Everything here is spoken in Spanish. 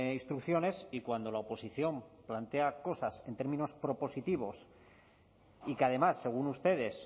instrucciones y cuando la oposición plantea cosas en términos propositivos y que además según ustedes